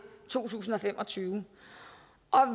to tusind og fem og tyve